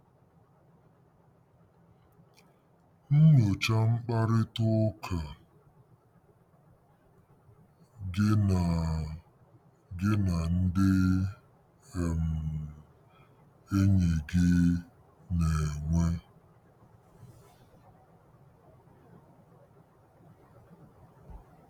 Nyochaa mkparịta ụka gị na gị na ndị um enyi gị na-enwe.